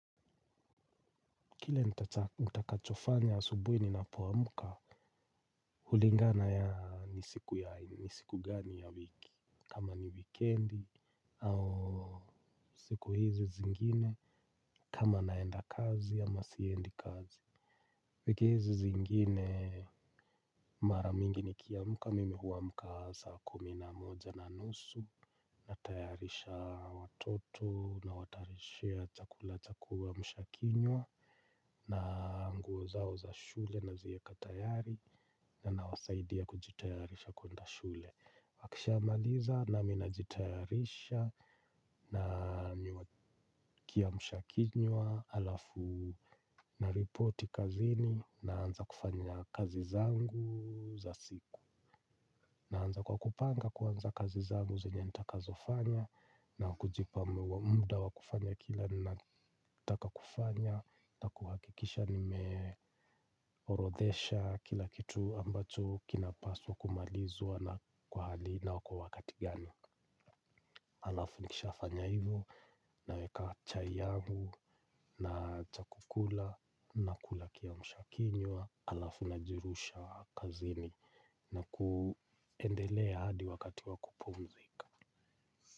Kile nitakachofanya asubuhi ninapoamka, hulingana ya ni siku gani ya wiki, kama ni wikendi, au siku hizi zingine, kama naenda kazi ama siendi kazi. Lakini hizi zingine mara mingi mimi nikiamka mimi huamka saa kumi na moja na nusu natayarisha watoto nawatayarishia chakula cha kuamsha kinywa na nguo zao za shule nazieka tayari na nawasaidia kujitayarisha kwenda shule. Wakishamaliza nami najitayarisha na kiamshakinywa halafu naripoti kazini naanza kufanya kazi zangu za siku. Naanza kwa kupanga kuanza kazi zangu zenye nitakazofanya na kujipa muda wa kufanya kila ninataka kufanya na kuhakikisha nimeorodhesha kila kitu ambacho kinapaswa kumalizwa na kwa hali na kwa wakati gani. Alafu nikisha fanya hivyo naweka chai yangu na cha kukula nakula kiamshakinywa halafu najirusha kazini na kuendelea hadi wakati wakupumzika.